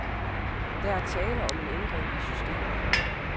Der er tale om en ændring i systemet.